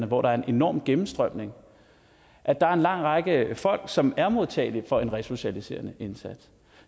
hvor der er en enorm gennemstrømning at der er en lang række folk som er modtagelige for en resocialiserende indsats